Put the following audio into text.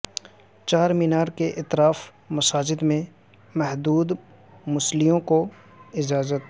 چارمینار کے اطراف مساجد میں محدود مصلیوں کو اجازت